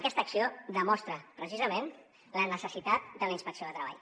aquesta acció demostra precisament la necessitat de la inspecció de treball